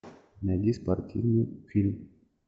найди спортивный фильм